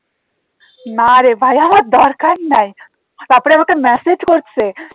না রে ভাই আমার দরকার নাই তারপরে আমাকে message করছে